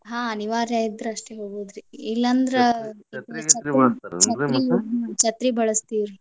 ಹಾ ಅನಿವಾರ್ಯ ಇದ್ರೆ ಅಷ್ಟೇ ಹೋಗುದ್ರಿ ಇಲ್ಲಂದ್ರ ಛತ್ರಿ ಬಳಸ್ತೇವ್ರಿ.